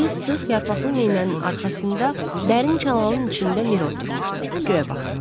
İri sıx yarpaqlı meynənin arxasında dərin çalanın içində Miri oturmuşdu, göyə baxırdı.